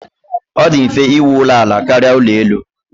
Ọ dị mfe íwú ụlọ ala karịa ụlọ elu.